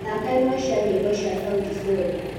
thakaĩmwe cĩa nyĩmbo cĩa sauti sol